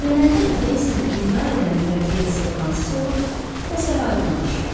Öyrənəndə ki, Deysinin intihar edən mürəbbiyəsi fransız olub, məsələ aydınlaşır.